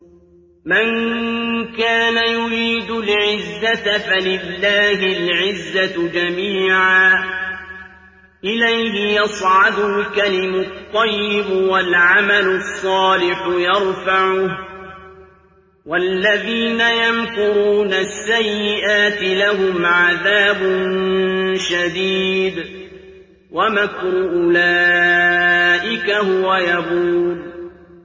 مَن كَانَ يُرِيدُ الْعِزَّةَ فَلِلَّهِ الْعِزَّةُ جَمِيعًا ۚ إِلَيْهِ يَصْعَدُ الْكَلِمُ الطَّيِّبُ وَالْعَمَلُ الصَّالِحُ يَرْفَعُهُ ۚ وَالَّذِينَ يَمْكُرُونَ السَّيِّئَاتِ لَهُمْ عَذَابٌ شَدِيدٌ ۖ وَمَكْرُ أُولَٰئِكَ هُوَ يَبُورُ